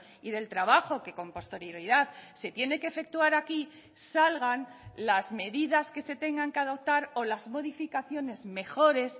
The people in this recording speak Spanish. y del trabajo que con posterioridad se tiene que efectuar aquí salgan las medidas que se tengan que adoptar o las modificaciones mejores